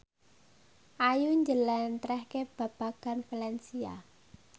Ayu njlentrehake babagan valencia